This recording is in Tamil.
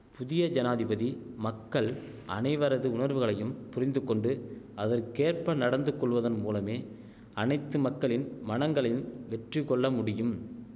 புதிய ஜனாதிபதி மக்கள் அனைவரது உணர்வுகளையும் புரிந்துகொண்டு அதற்கேற்ப நடந்து கொள்வதன் மூலமே அனைத்து மக்களின் மனங்களையும் வெற்றி கொள்ளமுடியும்